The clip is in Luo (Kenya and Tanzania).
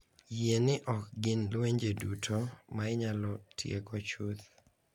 Yie ni ok gin lwenje duto ma inyalo tieko chuth .